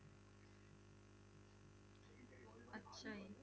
ਸਹੀ।